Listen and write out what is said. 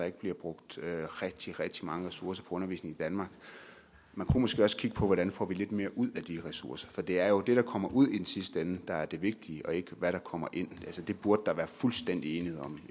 ikke bliver brugt rigtig rigtig mange ressourcer på undervisning i danmark man kunne måske også kigge på hvordan vi får lidt mere ud af de ressourcer for det er jo det der kommer ud i den sidste ende der er det vigtige og ikke hvad der kommer ind det burde der være fuldstændig enighed om